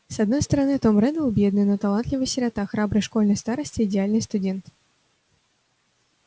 с одной стороны том реддл бедный но талантливый сирота храбрый школьный староста идеальный студент